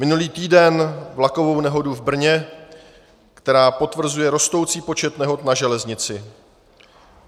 Minulý týden vlakovou nehodu v Brně, která potvrzuje rostoucí počet nehod na železnici.